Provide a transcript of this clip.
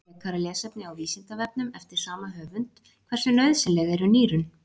Frekara lesefni á Vísindavefnum eftir sama höfund: Hversu nauðsynleg eru nýrun?